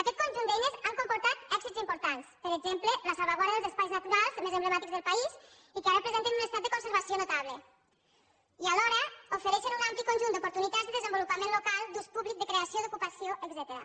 aquest conjunt d’eines ha comportat èxits importants per exemple la salvaguarda d’espais naturals més emblemàtics del país i que ara presenten un estat de conservació notable i alhora ofereixen un ampli conjunt d’oportunitats i desenvolupament local d’ús públic de creació d’ocupació etcètera